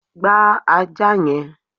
gba ajá yẹn!